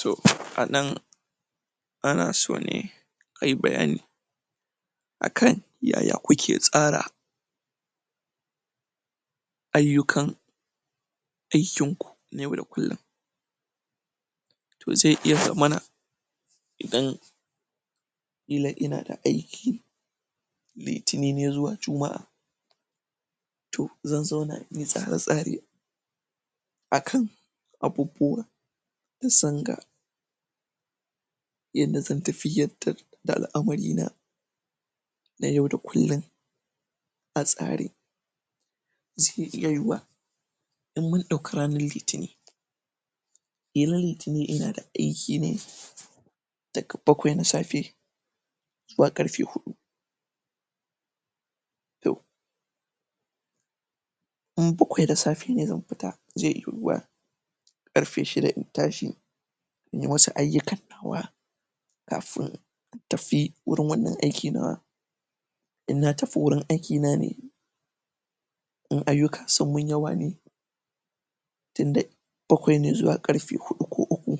so a ɗan ana so ne ayi bayani akan yaya kuke tsara ayyukan aikin ku yau da kullun tq zai iya zamana idan ƙila in da akayi litinin ne zuwa juma'a toh zan zauna, in yi tsare tsare akan abubuwa da zanga yadda zan tafiyadda da al'amari na na yau da kullun a tsari zai iya yuwa in mun ɗauka ranan litinin ƙ[la liti nin ina da aiki ne daga bakwai na safe zuwa ƙarfe huɗu in bakwai da safe ne zan fi ta zai yuwa ƙarfe shida in tashi in yi wasu ayyuka nawa kafun in tafi gurin wannan aiki nawa in na tafi wurin aiki na ne in ayyuka sun mun yawa ne tun da bakwai na zuwa ƙarfe hudu ko uku